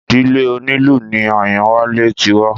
Ìdílé onílù ni Àyánwálé ti wá